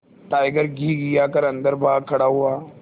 tiger घिघिया कर अन्दर भाग खड़ा हुआ